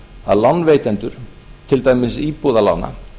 að lánveitendur til dæmis íbúðalána